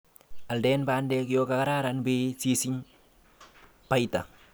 Alden bandek yon kararn beit sisisch baita.